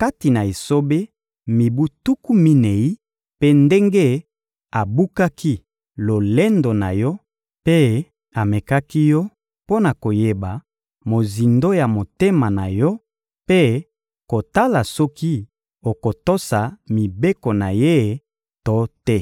kati na esobe mibu tuku minei, mpe ndenge abukaki lolendo na yo mpe amekaki yo mpo na koyeba mozindo ya motema na yo mpe kotala soki okotosa mibeko na Ye to te.